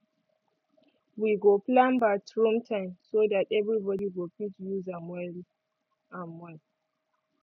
wi go plan bathroom time so dat everybody go fit dey use am well